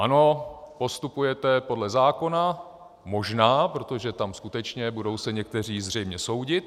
Ano, postupujete podle zákona, možná, protože tam skutečně se budou někteří zřejmě soudit.